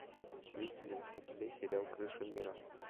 есть ли у тебя сериал крыша мира